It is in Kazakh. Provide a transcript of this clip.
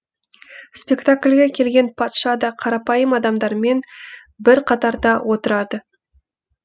спектакльге келген патша да қарапайым адамдармен бір қатарда отырады